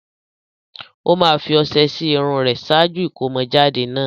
Ó máa fi ọṣẹ sí irun rẹ̀ ṣáájú ìkómọjáde náà.